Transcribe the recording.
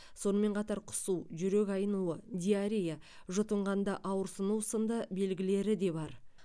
сонымен қатар құсу жүрек айнуы диарея жұтынғанда ауырсыну сынды белгілері де бар